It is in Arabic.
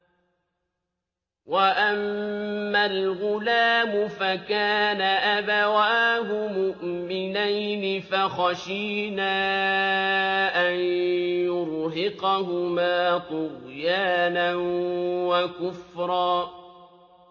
وَأَمَّا الْغُلَامُ فَكَانَ أَبَوَاهُ مُؤْمِنَيْنِ فَخَشِينَا أَن يُرْهِقَهُمَا طُغْيَانًا وَكُفْرًا